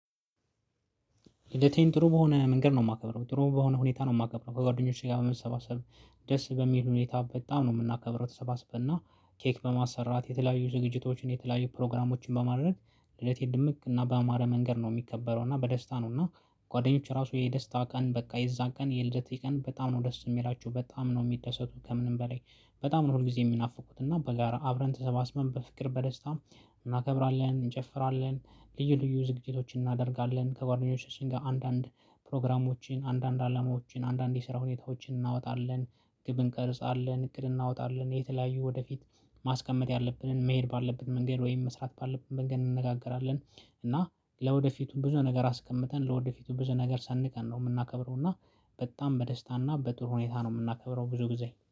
ልደቴን ጥሩ በሆነ መንገድ ነው የማከብረው ጥሩ በሆነ ሁኔታ ነው የማከብረው ከጓደኞቼ ጋር በመሰባሰብ ደስ በሚል ሁኔታ በጣም ነው የምናከብረው። ተሰባስበን እና ኬክ በማሰራት የተለያዩ ዝግጅቶችን የተለያዩ ፕሮግራሞችን በማድረግ ልደቴ ድምቅ እና ባማረ መንገድ ነው የሚከበረው። እና በደስታ ነው እና ጓደኞች ራሱ የደስታ ቀን በቃ የዛ ቀን የልደቴ ቀን በጣም ነው ደስ የሚላችው በጣም ነው የሚደሰቱት። ከምንም በላይ በጣም ነው ሁልጊዜ የሚናፍቁት እና በጋራ አብረን ተሰባስበን በፍቅር በደስታ እናከብራለን። እንጨፍራለን ልዩ ልዩ ዝግጅቶችን እናደርጋለን። ከጓደኞቻችን ጋር አንዳንድ ፕሮግራሞችን አንዳንድ አላማዎችን አንዳንድ የስራ ሁኔታዎችን እናወጣለን ግብ እንቀርጻለን። እቅድ እናወጣለን የተለያዩ ወደ ፊት ማስቀመጥ ያለብንን መሄድ ባለብን መንገድ ወይም መስራት ባለብን መንገድ እንነጋገራለን። እና ለወደፊቱም ብዙ ነገር አስቀምጠን ለወደፊቱም ብዙ ነገር ሰንቀን ነው የምናከብረው። እና በጣም በደስታና በጥሩ ሁኔታ ነው የምናከብረው ብዙ ጊዜ